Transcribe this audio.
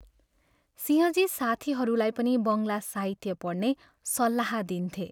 सिंहजी साथीहरूलाई पनि बङ्गला साहित्य पढ्ने सल्लाह दिन्थे।